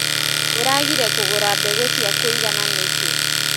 ũragire kũgũra mbegũ cia kũigana nĩkĩ.